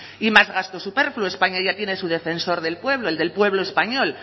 y más gasto superfluo españa ya tiene su defensor del pueblo el del pueblo español